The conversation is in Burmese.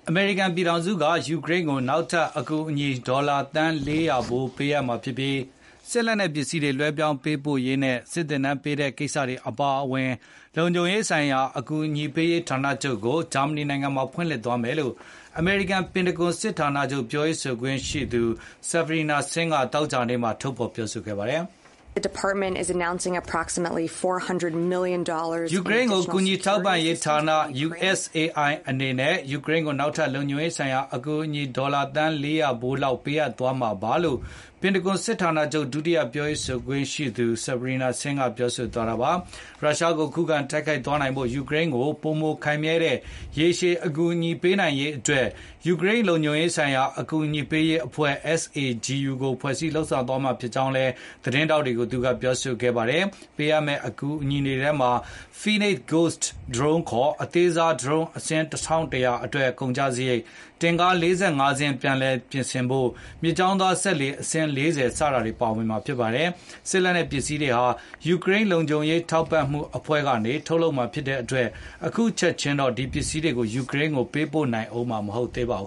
အမေရိကန်ပြည်ထောင်စုက ယူကရိန်းကို နောက်ထပ် အကူအညီ ဒေါ်လာ သန်း ၄၀၀ ပေးအပ်မှာဖြစ်ပြီး၊ စစ်လက်နက်ပစ္စည်းတွေ လွဲှပြောင်းပေးပို့ရေးနဲ့ စစ်သင်တန်းပေးတဲ့ကိစ္စတွေ အပါအဝင် လုံခြုံရေးဆိုင်ရာ အကူအညီပေးရေး ဌာနချုပ်ကို ဂျာမဏီနိုင်ငံမှာ ဖွင့်လှစ်သွားမယ်လို့ အမေရိကန် ပင်တဂွန် စစ်ဌာနချုပ် ပြောရေးဆိုခွင့်ရှိသူ Sabrina Singh က သောကြာနေ့က ထုတ်ဖေါ် ပြောဆိုခဲ့ပါတယ်။ “ ယူကရိန်းကို ကူညီထောက်ပံ့ရေးဌာန USAI အနေနဲ့ ယူကရိန်းကို နောက်ထပ်လုံခြုံရေးဆိုင်ရာ အကူအညီ ဒေါ်လာ သန်း ၄၀၀ လောက်ပေးအပ်သွားမယ်လို့ ပင်တဂွန် စစ်ဌာနချုပ် ဒုတိယပြောရေးဆိုခွင့်ရှိသူ Sabrina Singh ကပြော ဆိုသွားတာပါ။ ရုရှားကို ခုခံတိုက်ခိုက်သွားနိုင်ဖို့ ယူကရိန်းကို ပိုမိုခိုင်မြဲတဲ့ ရေရှည်အကူအညီ ပေးနိုင်ရေး အတွက် ယူကရိန်း လုံခြုံရေးဆိုင်ရာ အကူအညီပေးရေးအဖွဲ့ SAGU ကို ဖွဲ့စည်းလုပ်ဆောင်သွားမှာ ဖြစ်ကြောင်းကိုလည်း သတင်းထောက်တွေကို သူကပြောဆိုခဲ့ပါတယ်။ ပေးအပ်မဲ့ အကူအညီတွေထဲမှာ Phoenix Ghost drone ခေါ် အသေးစား ဒရုန်းအစင်း ၁၁၀၀ အတွက် ကုန်ကျစားရိတ်၊ တင့်ကား ၄၅ စင်း ပြန်လည်ပြင်ဆင်ဖို့၊ မြစ်ကြောင်းသွား စက်လှေ အစင်း ၄၀ စတာတွေ ပါဝင်မှာဖြစ်ပါတယ်။ ဒီ စစ်လက်နက်ပစ္စည်းတွေဟာ ယူကရိန်းလုံခြုံရေး ထောက်ပံမှုအဖွဲ့ကနေ ထုတ်လုပ်မှာဖြစ်တဲ့အတွက် အခုချက်ခြင်းတေ ာ့ဒီပစ္စည်းတွေကို ယူကရိန်းကို ပေးပို့နိုင်ဦးမှာတော့ မဟုတ်သေးပါဘူ